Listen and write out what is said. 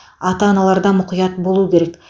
ата аналар да мұқият болуы керек